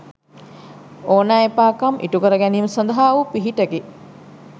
ඕනෑ එපාකම් ඉටුකර ගැනීම සඳහා වූ පිහිටකි.